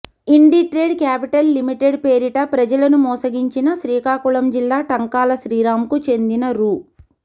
Inditrade capital limited పేరిట ప్రజలను మోసగించిన శ్రీకాకుళం జిల్లా టంకాల శ్రీరామ్కు చెందిన రూ